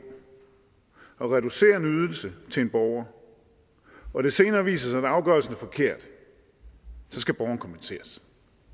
at reducere en ydelse til en borger og det senere viser sig at afgørelsen er forkert skal borgeren kompenseres